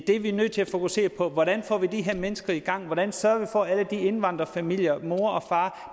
er nødt til at fokusere på er hvordan vi får de her mennesker i gang hvordan sørger vi for at alle de indvandrerfamilier mor og far